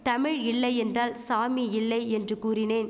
தமிழ் இல்லை என்றால் சாமி இல்லை என்று கூறினேன்